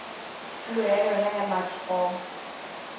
tulo ya yona ya mathomo